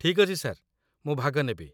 ଠିକ୍ ଅଛି ସାର୍, ମୁଁ ଭାଗ ନେବି